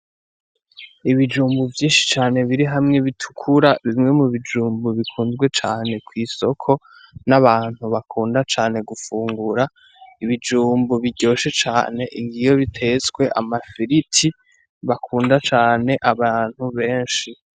Ibijumbu vyinshi cane biri hamwe bitukura bimwe mu bijumbu bikunzwe cane kw'isoko n'abantu bakunda cane gufungura ibijumbu biryoshe cane ingiyo bitetswe amafiriti bakunda cane abantu benshi.